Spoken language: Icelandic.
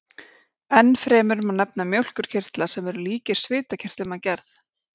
Ennfremur má nefna mjólkurkirtla, sem eru líkir svitakirtlum að gerð.